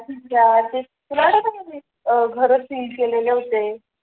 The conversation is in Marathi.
तुला आठवत का ते घर सील केलेले होते